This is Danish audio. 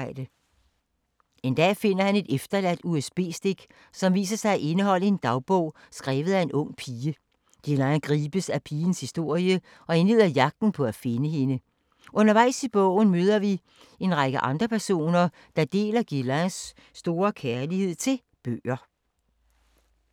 En dag finder han et efterladt USB-stik, som viser sig at indeholde en dagbog skrevet af en ung pige. Guylain gribes af pigens historie og indleder jagten på at finde hende. Undervejs i bogen møder vi en række andre personer, der deler Guylains store kærlighed til bøger.